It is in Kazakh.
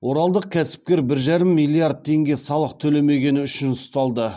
оралдық кәсіпкер бір жарым миллиард теңге салық төлемегені үшін ұсталды